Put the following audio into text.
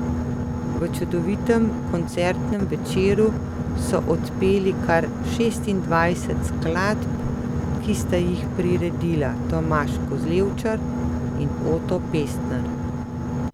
V čudovitem koncertnem večeru so odpeli kar šestindvajset skladb, ki sta jih priredila Tomaž Kozlevčar in Oto Pestner.